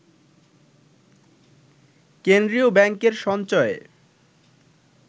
কেন্দ্রীয় ব্যাংকের সঞ্চয়ে